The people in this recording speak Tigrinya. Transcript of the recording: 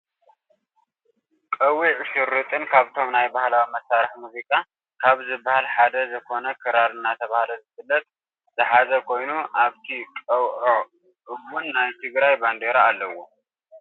ቀዊዕ ሽሩጥን ካብቶም ናይ ባህላዊ መሳርሒ ሙዚቃ ካብ ዝብሃለ ሓደ ዘኮነ ክራር ኣናተባህለ ዝፍለጥ ዝሓዘ ኮይኑ ኣብታ ቀዊዖ እውን ናይ ትግራይ ባንዴራ ኣለዋ።